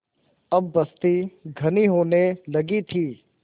अब बस्ती घनी होने लगी थी